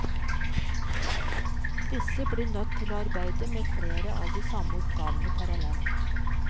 Disse blir nødt til å arbeide med flere av de samme oppgavene parallelt.